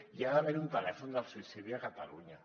hi ha d’haver un telèfon del suïcidi a catalunya